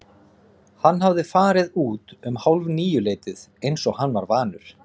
Hann hafði farið út um hálfníuleytið eins og hann var vanur.